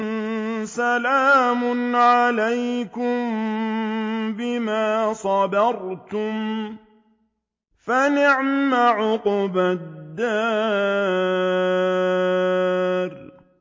سَلَامٌ عَلَيْكُم بِمَا صَبَرْتُمْ ۚ فَنِعْمَ عُقْبَى الدَّارِ